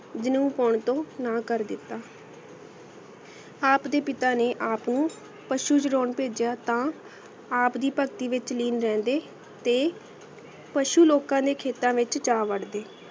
ਜਿਨੂ ਪੋੰ ਪੋੰ ਤੋ ਨਾ ਕਰ ਦਿਤਾ ਆਪ ਦੇ ਪਿਤਾ ਨੇ ਆਪ ਨੂ ਪਸ਼ੁ ਚੁਰੋੰ ਪਾਜਿਯਾ ਤਾ ਆਪ ਦੀ ਪਾਰਟੀ ਵਹਿਚ ਤੇ ਪਸ਼ੁ ਲੋਕਾ ਨੇ ਖੇਤਾ ਵਿਚ ਜਾ ਵਾਰ ਦੇ